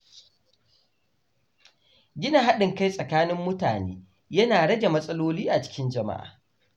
Gina haɗin kai tsakanin mutane yana rage matsaloli a cikin jama’a.